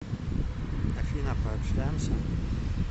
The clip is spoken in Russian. афина пообщаемся